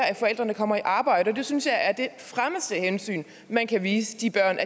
af forældrene kommer i arbejde og det synes jeg er det fremmeste hensyn man kan vise de børn